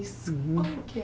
Uhum Como que